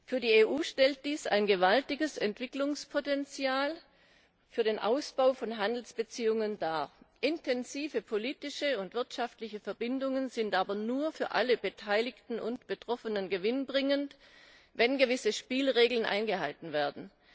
Für die EU stellt dies ein gewaltiges Entwicklungspotenzial für den Ausbau von Handelsbeziehungen dar. Intensive politische und wirtschaftliche Verbindungen sind aber nur dann für alle Beteiligten und Betroffenen gewinnbringend, wenn gewisse Spielregeln eingehalten werden.